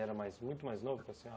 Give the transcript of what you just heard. Era mais muito mais novo que a senhora?